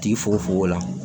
Tigi fogofogo la